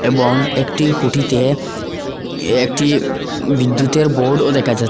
এবং একটি খুঁটিতে একটি বিদ্যুতের বোর্ড -ও দেখা যা--